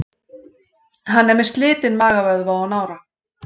Hann er með slitinn magavöðva og nára.